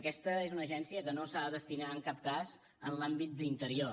aquesta és una agència que no s’ha de destinar en cap cas en l’àmbit d’interior